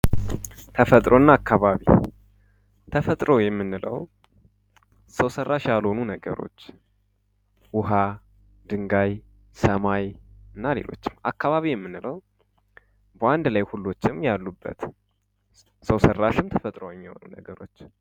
ተፈጥሮና አካባቢዋ ተፈጥሮ የምንለው ሰው ሰራሽ ያልሆኑ ነገሮች ውሀ ድንጋይ ሰማይ እና ሌሎችም አካባቢ በአንድ ላይ ሁሉንም የያዘ ነው